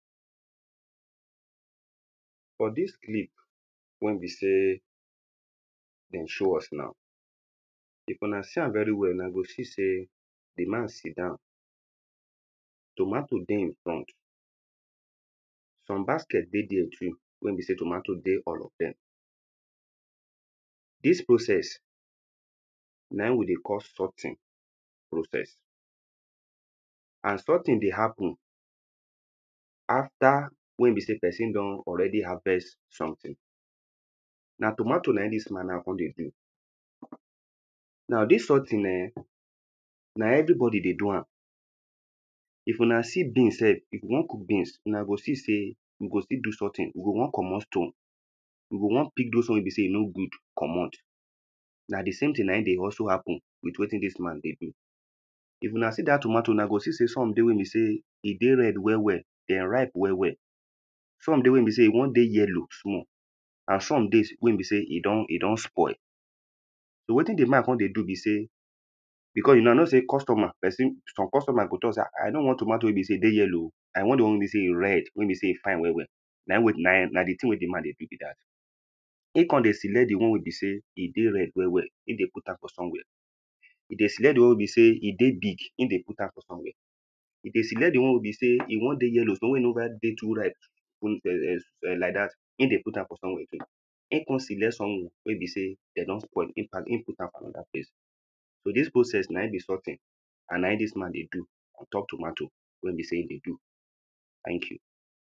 For dis clip wen be sey dem show us now, if una see am very well, una go see sey, di man sit down, tomato dey him front, some basket dey there too wey be sey tomato dey all of dem. Dis process, na im we dey call sorting process. And sorting dey happen after wen be sey person don already harvest something. Na tomato na im dis man now come dey do, now dis sorting ehn, na every body dey do am. If una see beans sef, if we wan cook beans una go see sey, we go still do sorting, we go wan komot stone. We go wan pick those one wey be sey e no good komot, na dis same thing na im dey also happen with wetin dis man dey do. If una see dat tomato na u go see sey some dey wey be say e dey red well well, dem ripe well well, some dey wey be sey e wan dey yellow small, and some dey wey be sey, e don e don spoil, so wetin di man come dey do be sey, because una know sey, costumer person, some costumer go talk sey, um I nor wan tomato wey e be sey, I dey yellow oh, I want di one wey e be sey, e red wey e be sey, e fine well well. Na im wey na di thing wey di man dey do be dat. Im come dey select di one wey e be sey e dey red well well, e dey put am for somewhere, dey select di one wey e be sey e dey big, e dey put am for somewhere. E dey select di one wey e be sey e wan dey yellow small, wey never dey too ripe, like dat, e dey put am for somewhere too. E come select some wey bey sey, dem don spoil im put am for another place. So dis process na im be sorting and na im dis man dey do on top tomato wey be sey im dey do, thank you.